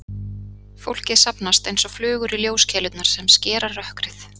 Fólkið safnast einsog flugur í ljóskeilurnar sem skera rökkrið.